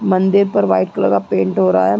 मंदिर पर white colour का पेंट हो रहा है।